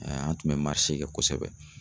an tun bɛ kɛ kosɛbɛ